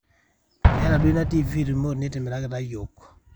meeta duo ina tv remote nitimirakita iyiiok